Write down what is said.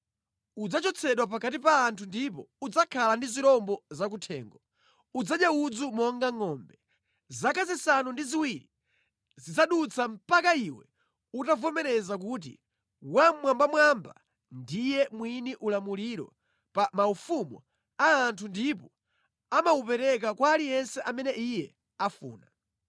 Udzachotsedwa pakati pa anthu ndipo udzakhala ndi zirombo zakuthengo; udzadya udzu monga ngʼombe. Zaka zisanu ndi ziwiri zidzadutsa mpaka iwe utavomereza kuti Wammwambamwamba ndiye mwini ulamuliro pa maufumu a anthu ndipo amawupereka kwa aliyense amene iye afuna.”